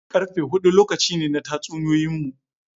Karfe hudu lokaci ne na tatsuniyoyinmu.